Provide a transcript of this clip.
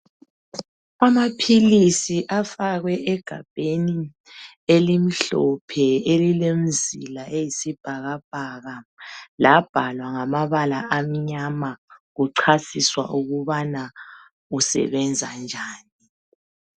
Amaphilisi afakwe egabheni elimhlophe elilemzila eyisibhakabhaka, labhalwa ngamabala amnyama kuchaziswa ukubana lisebenza njani.